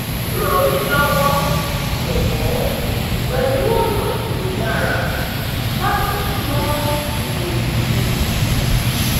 ran mi lọwọ jọwọ pẹlu ọna ti o dara lati sunmọ ipo yii